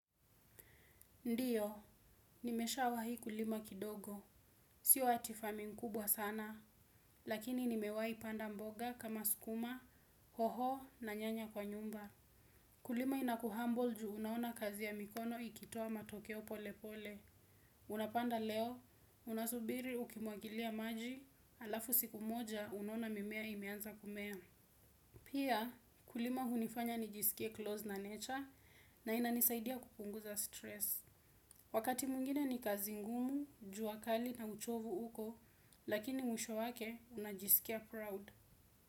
Ndiyo, nimeshawahi kulima kidogo. Sio ati farming mkubwa sana, lakini nimewahi panda mboga kama sukuma, hoho na nyanya kwa nyumba. Kulima inakuhumble juu unaona kazi ya mikono ikitoa matokeo pole pole. Unapanda leo, unasubiri ukimwagilia maji, alafu siku moja unaona mimea imeanza kumea. Pia ukulima hunifanya nijisikie close na nature na inanisaidia kupunguza stress. Wakati mwingine ni kazi ngumu, jua kali na uchovu uko, lakini mwisho wake unajisikia proud.